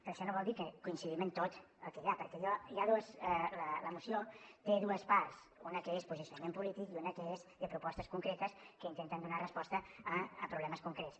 però això no vol dir que coincidim en tot el que hi ha perquè la moció té dues parts una que és posicionament polític i una que és de propostes concretes que intenten donar resposta a problemes concrets